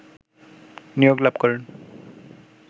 নিয়োগ লাভ করেন